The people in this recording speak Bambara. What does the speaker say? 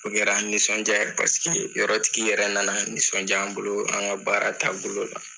O kɛra nisɔndiya ye paseke yɔrɔtigi yɛrɛ na na nisɔndiya an bolo an ka baara taabolo la.